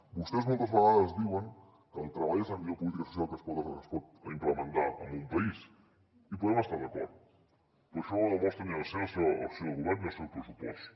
vostès moltes vegades diuen que el treball és la millor política social que es pot implementar en un país hi podem estar d’acord però això no ho demostren ni amb la seva acció de govern ni amb el seu pressupost